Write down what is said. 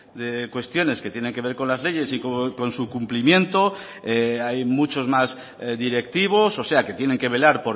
de cuestiones que tienen que ver con las leyes y con su cumplimiento hay muchos más directivos o sea que tienen que velar